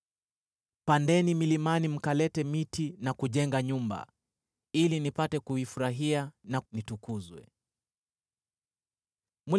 Pandeni milimani mkalete miti na kujenga nyumba, ili nipate kuifurahia, na nitukuzwe,” asema Bwana .